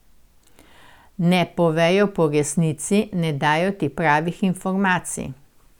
Ne povejo po resnici, ne dajo ti pravih informacij.